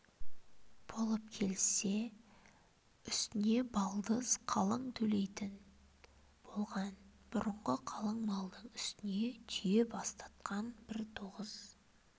болып келіссе үстіне балдыз қалың төлейтін болған бұрынғы қалың малдың үстіне түйе бастатқан бір тоғыз